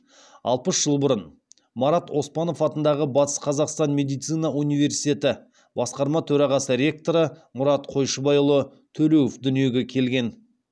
алпыс жыл бұрын марат оспанов атындағы батыс қазақстан медицина университеті басқарма төрағасы ректоры мұрат қойшыбайұлы төлеуов дүниеге келген